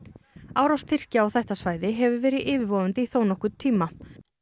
árás Tyrkja á þetta svæði hefur verið yfirvofandi í þó nokkurn tíma